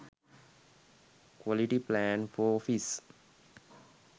quality plan for office